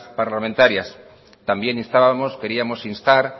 parlamentarias también instábamos queríamos instar